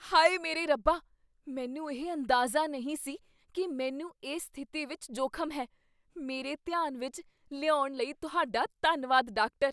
ਹਾਏ ਮੇਰੇ ਰੱਬਾ! ਮੈਨੂੰ ਇਹ ਅੰਦਾਜ਼ਾ ਨਹੀਂ ਸੀ ਕੀ ਮੈਨੂੰ ਇਸ ਸਥਿਤੀ ਵਿਚ ਜੋਖ਼ਮ ਹੈ। ਮੇਰੇ ਧਿਆਨ ਵਿੱਚ ਲਿਆਉਣ ਲਈ ਤੁਹਾਡਾ ਧੰਨਵਾਦ, ਡਾਕਟਰ।